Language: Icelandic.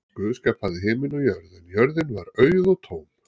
Guð skapaði himin og jörð en jörðin var auð og tóm.